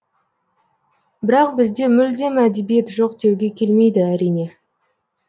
бірақ бізде мүлдем әдебиет жоқ деуге келмейді әрине